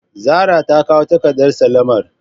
Zara takawo takardar sallamar.